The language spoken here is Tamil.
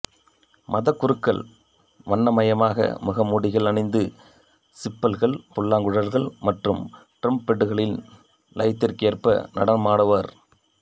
மதகுருக்கள் வண்ணமயமான முகமூடிகள் அணிந்து சிம்பல்கள் புல்லாங்குழல்கள் மற்றும் டிரெம்பெட்டுகளின் லயத்திற்கேற்ப நடனமாடுவர்